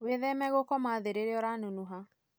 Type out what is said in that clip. Wĩtheme gũkoma thĩ rĩria ũranunuha.